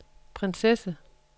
prinsesse